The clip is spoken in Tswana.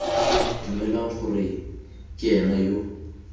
dumelwang gore ke ena yo